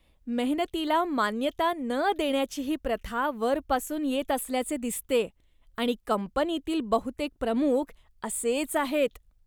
मेहनतीला मान्यता न देण्याची ही प्रथा वरपासून येत असल्याचे दिसतेय आणि कंपनीतील बहुतेक प्रमुख असेच आहेत.